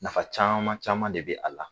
Nafa caaman caman de be a la.